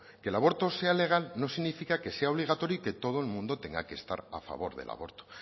que el aborto sea legal no significa que sea obligatorio y que todo el mundo tenga que estar a favor del aborto